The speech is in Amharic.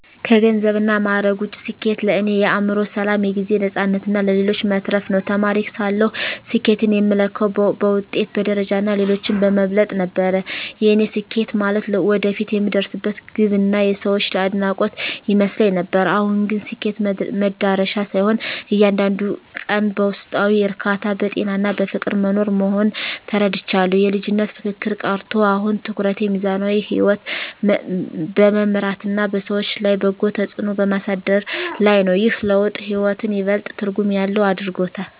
ከገንዘብና ማዕረግ ውጭ፣ ስኬት ለእኔ የአእምሮ ሰላም፣ የጊዜ ነፃነትና ለሌሎች መትረፍ ነው። ተማሪ ሳለሁ ስኬትን የምለካው በውጤት፣ በደረጃና ሌሎችን በመብለጥ ነበር፤ ያኔ ስኬት ማለት ወደፊት የምደርስበት ግብና የሰዎች አድናቆት ይመስለኝ ነበር። አሁን ግን ስኬት መድረሻ ሳይሆን፣ እያንዳንዱን ቀን በውስጣዊ እርካታ፣ በጤናና በፍቅር መኖር መሆኑን ተረድቻለሁ። የልጅነት ፉክክር ቀርቶ፣ አሁን ትኩረቴ ሚዛናዊ ሕይወት በመምራትና በሰዎች ላይ በጎ ተጽዕኖ በማሳደር ላይ ነው። ይህ ለውጥ ሕይወትን ይበልጥ ትርጉም ያለው አድርጎታል።